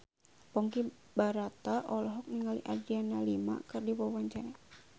Ponky Brata olohok ningali Adriana Lima keur diwawancara